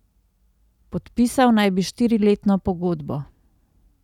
Podpisal naj bi štiriletno pogodbo.